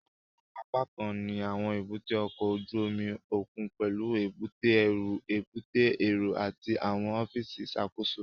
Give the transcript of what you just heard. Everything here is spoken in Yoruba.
Àwọn apákan ní àwọn èbúté ọkọ̀ ojú omi òkun pẹlú èbúté ẹrú, èbúté èrò àti àwọn ọfíìsì ìṣàkóso